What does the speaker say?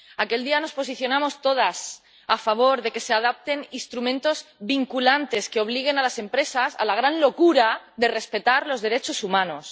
Aquel día nos posicionamos todas a favor de que se adopten instrumentos vinculantes que obliguen a las empresas a la gran locura de respetar los derechos humanos.